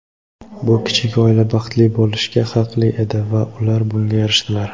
Bu kichik oila baxtli bo‘lishga haqli edi va ular bunga erishdilar.